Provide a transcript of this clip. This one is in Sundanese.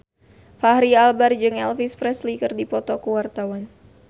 Fachri Albar jeung Elvis Presley keur dipoto ku wartawan